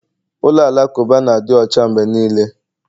Ụlọ alakụba na-adị ọcha mgbe niile